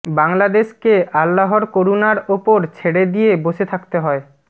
বাংলাদেশকে আল্লাহর করুণার ওপর ছেড়ে দিয়ে বসে থাকতে হয়